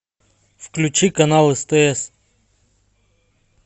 включи канал стс